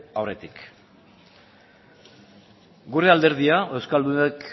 aurretik gure alderdia euskaldunek